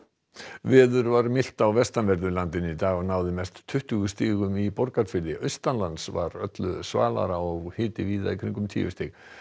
veður var milt á vestanverðu landinu í dag og náði hiti mest tuttugu stigum í Borgarfirði var öllu svalara og hiti víða í kringum tíu stig